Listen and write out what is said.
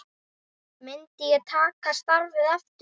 Myndi ég taka starfið aftur?